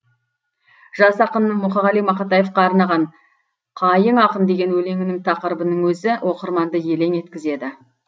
жас ақынның мұқағали мақатаевқа арнаған қайың ақын деген өлеңінің тақырыбының өзі оқырманды елең еткізеді